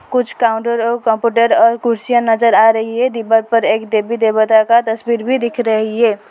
कुछ काउंटर और कंप्यूटर और कुर्सियां नजर आ रही है दिवाल पर एक देवी देवता का तस्वीर भी दिख रही है।